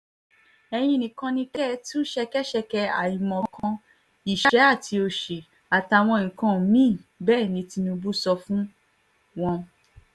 ẹ̀yin ni kẹ́ ẹ tú ṣẹkẹ́ṣẹkẹ̀ àìmọ̀kan ìṣẹ́ àti òṣì àtàwọn nǹkan mí-ín bẹ́ẹ̀ ni tìnubù sọ fún wọn